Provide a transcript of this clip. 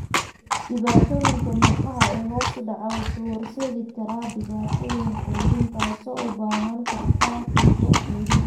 Dhadhanka murqaha ee hoos u dhaca wuxuu u horseedi karaa dhibaatooyin quudin taasoo u baahan karta tuubo quudin.